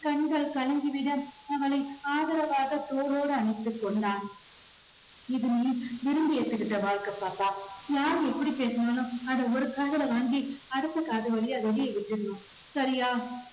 கண்கள் கலங்கிவிட அவளை ஆதரவாக தோளோடு அணைத்துக் கொண்டார். இது நீ விரும்பி ஏத்துகிட்ட வாழ்க்கை பாப்பா. யாரு எப்படி பேசினாலும் அதை ஒரு காதுல வாங்கி அடுத்த காது வழியா வெளியே விட்டுடணும் சரியா